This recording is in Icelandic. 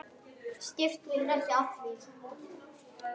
Skiptu þér ekki af því.